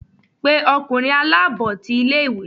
pe ọkunrin alabọ tí ìlé-ìwé!